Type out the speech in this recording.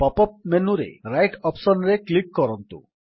pop up ମେନୁରେ right option ରେ click କରନ୍ତୁ